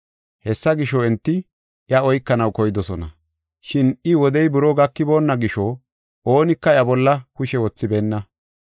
Hessa gisho, enti iya oykanaw koydosona. Shin iya wodey buroo gakiboonna gisho oonika iya bolla kushe wothibeenna.